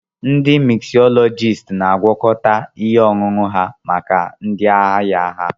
Ndi miksọlọgiisti na-agwakọta ihe ọṅụṅụ maka ndị ahịa ha.